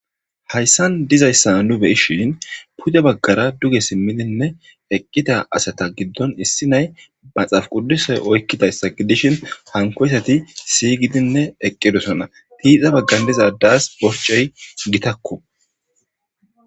hayssan dizayssa nu beyishin puda baggara duge simmidinne eqqida asata giddon issi nay maxaaf quddusoy oykkidayssa gidishin hankoysati siygidinne eqqidosona tiida baggan dizadas borcey gitakku